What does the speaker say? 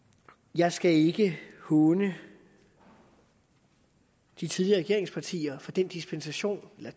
jeg skal ikke håne de tidligere regeringspartier for de dispensationer der